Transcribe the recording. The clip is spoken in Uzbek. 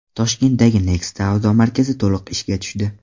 Toshkentdagi Next savdo markazi to‘liq ishga tushdi.